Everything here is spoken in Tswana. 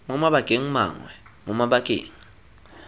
mo mabakeng mangwe mo mabakeng